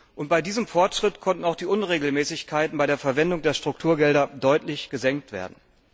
Und bei diesem Fortschritt konnten auch die Unregelmäßigkeiten bei der Verwendung der Strukturgelder deutlich gesenkt werden.